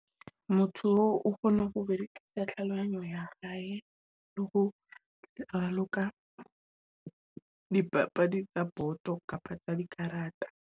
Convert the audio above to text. Motho o kgone ho berekisa tlhalohanyong ya hae le hi o raloka di papadi tsa boto kapa tsa di karata.